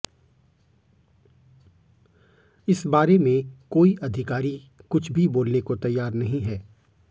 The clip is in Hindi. इस बारे में कोई अधिकारी कुछ भी बोलने को तैयार नहीं है